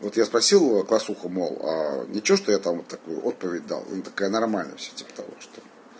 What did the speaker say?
вот я спросил класснуху мол ничего что я там такую отповедь дал она такая нормально всё типа того что